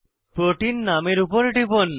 protein নামের উপর টিপুন